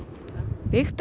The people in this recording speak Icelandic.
byggt er